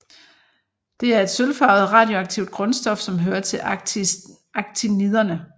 Det er et sølvfarvet radioaktivt grundstof som hører til actiniderne